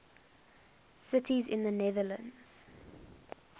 cities in the netherlands